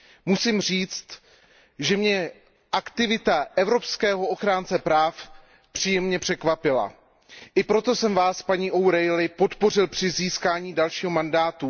Musím říct, že mě aktivita evropského ochránce práv příjemně překvapila. I proto jsem Vás, paní O´Reillyová, podpořil při získání dalšího mandátu.